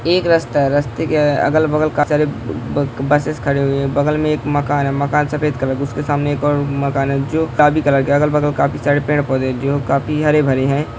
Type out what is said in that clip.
एक रास्ता है | रास्ते के अगल बगल काफी सारे बसेस खड़े हुए हैं | बगल में एक मकान है | मकान सफेद कलर का है | उसके सामने एक और मकान है जो कलर का है अगल बगल काफी सारे पेड पौधे हैं जो काफी हरे भरे हैं |